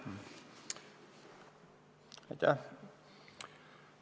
Aitäh!